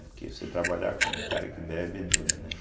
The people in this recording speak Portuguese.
Porque você trabalhar com um cara que bebe, é duro, né?